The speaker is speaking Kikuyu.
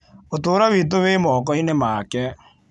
Ũtũũro witũ wĩ moko-inĩ make.